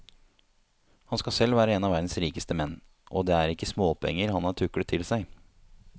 Han skal selv være en av verdens rikeste menn, og det er ikke småpenger han har tuklet til seg.